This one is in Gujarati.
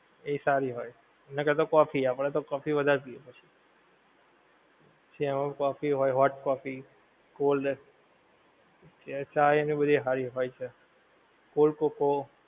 એ સારી હોય. એનાં કરતાં કોફી, આપણને કોફી વધારે પીએ છે! પછી એમાં કોફી હોય, hot કોફી cold, ચા એ એની બધી હારી હોય છે, cold કોકો,